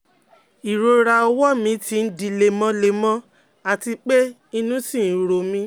Irora ọwọ́ mi ti n di lemọ́lemọ́ àti pé inú ṣì ń ro mí